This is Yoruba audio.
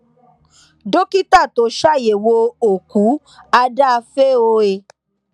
dókítà tó ṣàyẹwò òkú àdàáfẹ o e